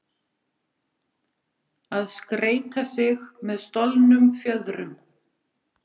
Að skreyta sig með stolnum fjöðrum